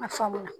A faamu na